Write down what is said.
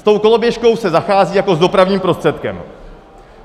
S tou koloběžkou se zachází jako s dopravním prostředkem.